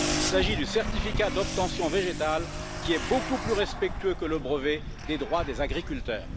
Il s'agit du certificat d'obtention végétale, qui est beaucoup plus respectueux que le brevet des droits des agriculteurs.